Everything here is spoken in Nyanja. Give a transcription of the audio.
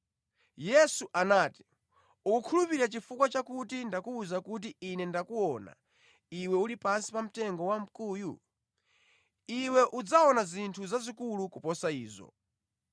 Yesu anati, “Ukukhulupirira chifukwa chakuti ndakuwuza kuti Ine ndinakuona iwe uli pansi pamtengo wamkuyu? Iwe udzaona zinthu zazikulu kuposa izo.”